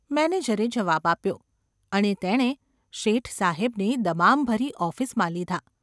’ મેનેજરે જવાબ આપ્યો અને તેણે શેઠ સાહેબને દમામભરી ઑફિસમાં લીધા.